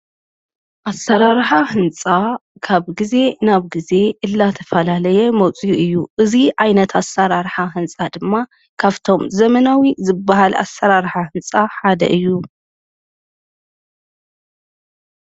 ኣሠራርኃ ሕንፃ ካብ ጊዜ ናብ ጊዜ እላተፈላለየ መፂኡ እዩ እዙይ ኣይነት ኣሠራርኃ ሕንፃ ድማ ካብቶም ዘመናዊ ዝበሃል ኣሠራርኃ ሕንጻ ሓደ እዩ።